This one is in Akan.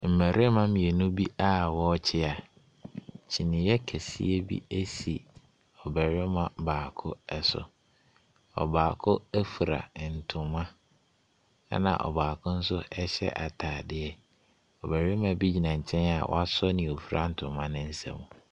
Mmarimma mmienu bi a ɔrekyea. kyiniiɛ kɛseɛ bi esi ɔbarima baako ɛso. Ɔbaako efira ntoma ɛna ɔbaako nso ɛhyɛ ataadeɛ. Ɔbarima bi gyina nkyɛn a wɔaso nea ɔfira ntoma no nsam.